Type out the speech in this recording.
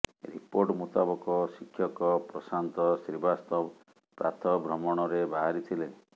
report ମୁତାବକ ଶିକ୍ଷକ ପ୍ରଶାନ୍ତ ଶ୍ରୀବାସ୍ତବ ପ୍ରାତଃ ଭ୍ରମଣରେ ବାହାରିଥିଲେ